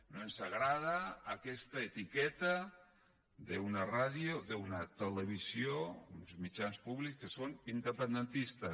no ens agrada aquesta etiqueta d’una ràdio d’una televisió d’uns mitjans públics que són independentistes